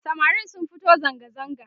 samarin sun fito zangazaga